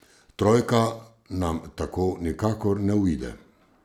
Trojka nam tako nikakor ne uide.